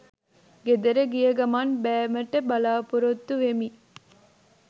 ගෙදර ගිය ගමන් බෑමට බලපොරොත්තු වෙමි